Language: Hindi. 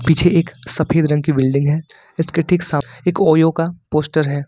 पीछे एक सफेद रंग की बिल्डिंग है इसके ठीक सामने एक ओयो का पोस्टर है।